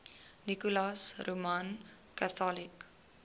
nicholas roman catholic